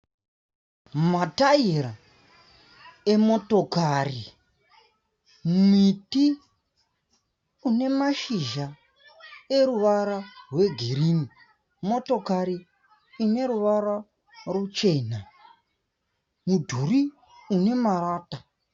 Mataera emotokari. Miti une mashizha eruvara rwegirini. Motokari ine ruvara ruchena. Mudhuri une marata.